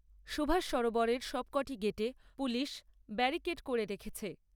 সুভাষ সরোবরের সবকটি গেটে পুলিশ ব্যারিকেড করে রেখেছে।